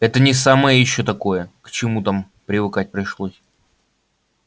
это не самое ещё такое к чему там привыкать пришлось